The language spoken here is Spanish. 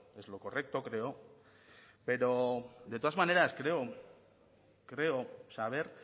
es lo correcto creo pero de todas maneras creo saber